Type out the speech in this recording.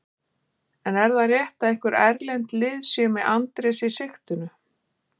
En er það rétt að einhver erlend lið séu með Andrés í sigtinu?